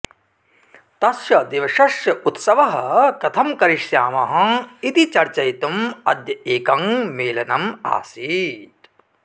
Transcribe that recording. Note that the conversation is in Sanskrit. तस्य दिवसस्य उत्सवः कथं करिष्यामः इति चर्चयितुं अद्य एकं मेलनम् आसीत्